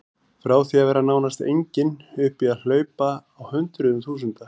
Frá því að vera nánast engin upp í að hlaupa á hundruðum þúsunda.